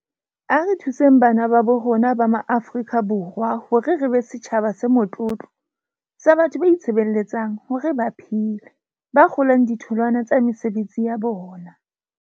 A re thuseng bana babo rona ba Maaforika Borwa hore re be setjhaba se motlotlo sa batho ba itshebeletsang hore ba phele, ba kgolang ditholwana tsa mesebetsi ya bona.